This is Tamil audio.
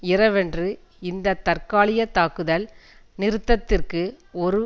இரவன்று இந்த தற்காலிக தாக்குதல் நிறுத்தத்திற்கு ஒரு